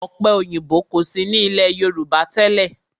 Ọ̀pẹ òyìnbó kò sí ní ilé Yorùbá tẹ́lẹ̀.